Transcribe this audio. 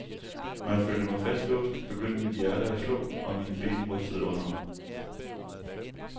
Når jeg følte mig fastlåst, begyndte mit hjerte at slå, og mine ben rystede under mig.